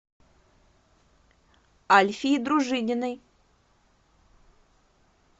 альфии дружининой